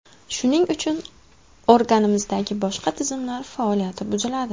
Shuning uchun organizmdagi boshqa tizimlar faoliyati buziladi.